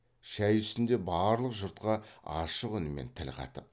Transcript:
шай үстінде барлық жұртқа ашық үнмен тіл қатып